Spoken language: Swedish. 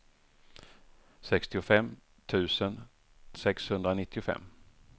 sextiofem tusen sexhundranittiofem